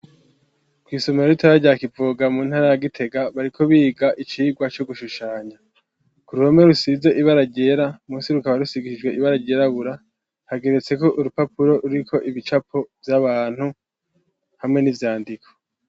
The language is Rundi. Kw'isomero ritoya rya Kivoga mu ntara ya Gitega bariko biga icigwa co gushushanya , kuruhome rusize ibara ryera, musi rukaba rusigishijwe ibara ryirabura hageretseko urupapuro ruriko ibicapo vy'abantu hamwe n'ivyandiko.